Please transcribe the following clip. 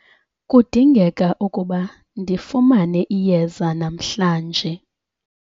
kudingeka ukuba ndifumane iyeza namhlanje